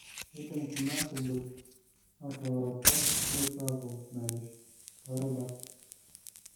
keidim kuna tubul atooroto nepuo aaku merish too rubat.